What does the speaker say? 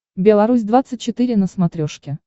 белорусь двадцать четыре на смотрешке